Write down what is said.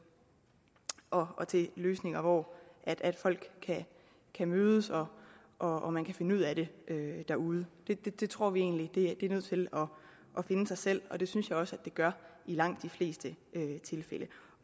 og til løsninger hvor folk kan mødes og og finde ud af det derude det det tror vi egentlig er nødt til at finde sig selv og det synes jeg også at det gør i langt de fleste tilfælde